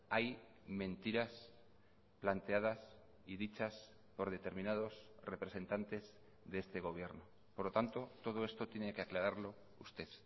hay mentiras planteadas y dichas por determinados representantes de este gobierno por lo tanto todo esto tiene que aclararlo usted